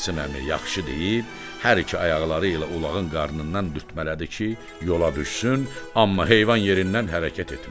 Qasım əmi yaxşı deyib hər iki ayaqları ilə ulağın qarnından dürtmələdi ki, yola düşsün, amma heyvan yerindən hərəkət etmədi.